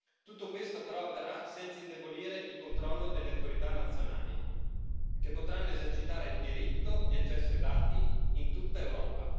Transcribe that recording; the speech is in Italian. Tutto questo, però, avverrà senza indebolire il controllo delle autorità nazionali che potranno esercitare il diritto di accesso ai dati in tutta Europa.